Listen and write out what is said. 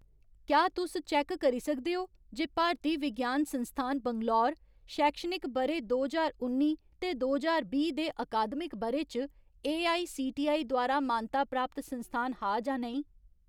क्या तुस चैक्क करी सकदे ओ जे भारतीय विज्ञान संस्थान बैंगलोर शैक्षणिक ब'रे दो ज्हार उन्नी ते दो ज्हार बीह् दे अकादमिक ब'रे च एआईसीटीई द्वारा मानता प्राप्त संस्थान हा जां नेईं ?